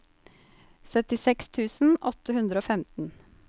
syttiseks tusen åtte hundre og femten